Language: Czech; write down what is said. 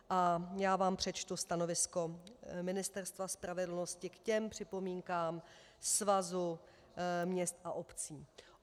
A já vám přečtu stanovisko Ministerstva spravedlnosti k těm připomínkám Svazu měst a obcí.